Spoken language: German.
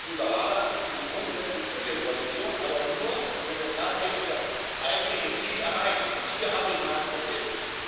Ich als Liberaler bin grundsätzlich für Liberalisierung, aber nur, wenn wir tatsächlich das eigentliche Ziel erreichen und hier habe ich meine Probleme.